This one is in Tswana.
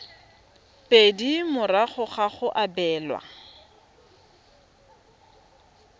pedi morago ga go abelwa